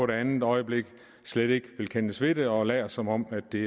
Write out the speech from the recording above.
det andet øjeblik slet ikke vil kendes ved det og lader som om at det